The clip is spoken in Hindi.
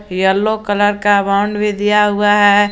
येलो कलर का भी दिया हुआ है।